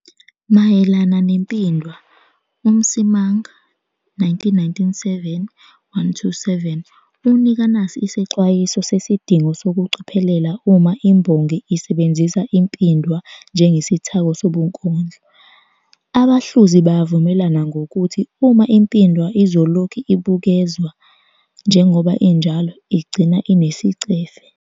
Mayelana nempindwa, uMsimang, 1997.127, unika nasi isexwayiso sesidingo sokucophelela uma imbongi isebenzisa impindwa njengesithako sobunkondlo. "Abahluzi bayavumelana ngokuthi uma impindwa izolokhu ibukezwa njengoba injalo, igcina inesicefe.